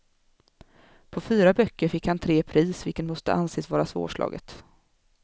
På fyra böcker fick han tre pris, vilket måste anses vara svårslaget.